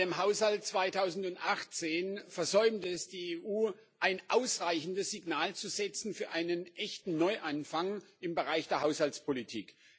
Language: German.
Mit dem Haushalt 2018 versäumt es die EU, ein ausreichendes Signal zu setzen für einen echten Neuanfang im Bereich der Haushaltspolitik.